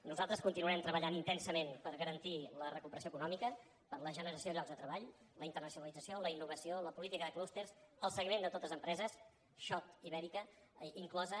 nosaltres continuarem treballant intensament per garantir la recuperació econòmica per la generació de llocs de treball la internacionalització la innovació la política de clústers el seguiment de totes les empreses schott ibérica inclosa